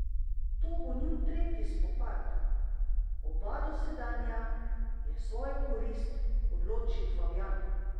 To bo njun tretji spopad, oba dosedanja je v svojo korist odločil Fabjan.